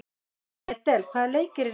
Edel, hvaða leikir eru í kvöld?